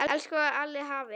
Elsku Halli afi.